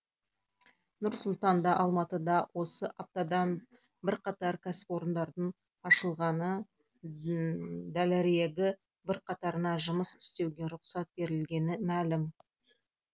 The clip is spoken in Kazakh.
нұр сұлтанда алматыда осы аптадан бірқатар кәсіпорындардың ашылғаны дәлірегі бірқатарына жұмыс істеуге рұқсат берілгені мәлім